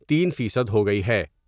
تین فیصد ہوگئی ہے ۔